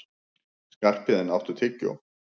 Skarphéðinn, áttu tyggjó?